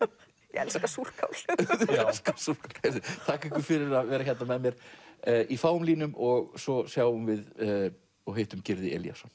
ég elska súrkál þakka ykkur fyrir að vera hérna með mér í fáum línum og svo sjáum við og hittum Gyrði Elíasson